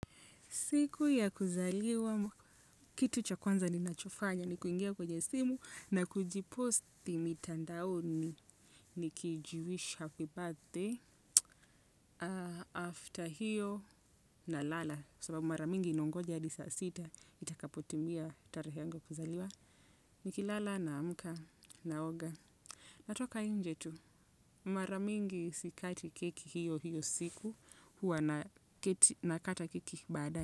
Siku ya kuzaliwa, kitu cha kwanza ninachofanya ni kuingia kwenye simu na kujiposti mitandaoni. Nikijiwish happyBirthday, after hiyo nalala, sababu mara mingi nqongoja hadi saa sita, itakapotimia tarahe yanga ya kuzaliwa. Nikilala naamka naoga. Natoka inje tu, mara mingi sikati keki hiyo hiyo siku, huwa nakata keki badaye.